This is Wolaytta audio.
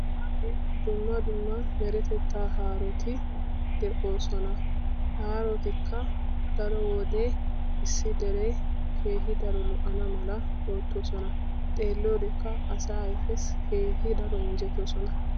Dumma dumma meretettaa haaroti de7oosona. Haarotikka daro wode issi dere keehi daro lo7ana mala oottoosona. Xeelliyodekka asaa ayifessi keehi daro injjetoosona.